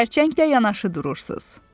Xərçənglə yanaşı durursuz.